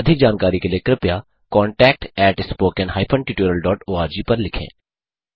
अधिक जानकारी के लिए कृपया contactspoken tutorialorg पर लिखें